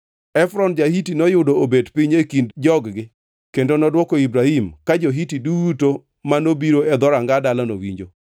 Efron ja-Hiti noyudo obet piny e kind jog-gi kendo nodwoko Ibrahim ka jo-Hiti duto ma nobiro e dhoranga dalano winjo.